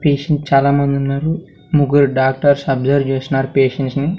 Patient చాలమందున్నారు ముగ్గురు doctors observe చేస్తున్నారు పేషంట్స్ ని.